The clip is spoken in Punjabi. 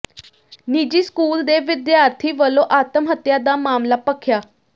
ਨਿੱਜੀ ਸਕੂਲ ਦੇ ਵਿਦਿਆਰਥੀ ਵੱਲੋਂ ਆਤਮ ਹੱਤਿਆ ਦਾ ਮਾਮਲਾ ਭਖਿਆ